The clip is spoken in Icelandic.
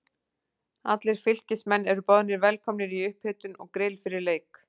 Allir Fylkismenn eru boðnir velkomnir í upphitun og grill fyrir leik.